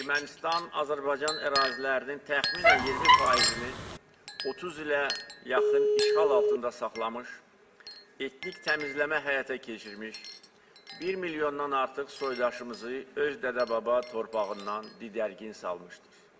Ermənistan Azərbaycan ərazilərinin təxminən 20%-ni 30 ilə yaxın işğal altında saxlamış, etnik təmizləmə həyata keçirmiş, 1 milyondan artıq soydaşımızı öz dədə-baba torpağından didərgin salmışdır.